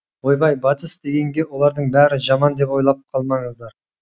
ойбай батыс дегенге олардың бәрі жаман деп ойлап қалмаңыздар